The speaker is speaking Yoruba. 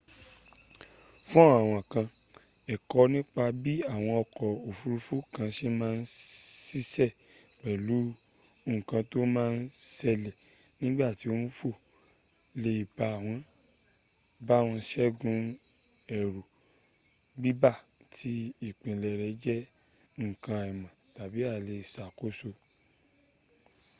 fún àwọn kan ẹ̀kọ nípa bí àwọn ọkọ̀ ofurufu kan ṣe má n ṣiṣẹ́ pẹ̀lú nkan tó ma n ṣẹ́lẹ̀ nígbàtí ó n fò lè bá wọn ṣẹ́gun ẹ̀rù bíbà tí ìpilẹ̀ rẹ̀ jẹ́ nkan àìmọ̀ tàbi àìlèṣàkóso